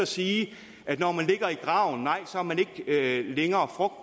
sige at når man ligger i graven nej så er man ikke længere